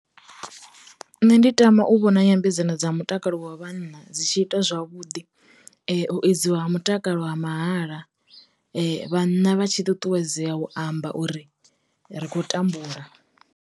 Nṋe ndi tama u vhona nyambedzano dza mutakalo wa vhanna dzi tshi ita zwavhuḓi, u edziwa ha mutakalo ha mahala, vhanna vha tshi ṱuṱuwedzea u amba uri ri kho u tambula.